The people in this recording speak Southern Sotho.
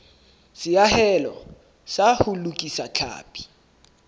seahelo sa ho lokisa tlhapi